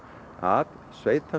að